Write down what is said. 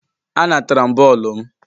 A natara m bọọlụ m.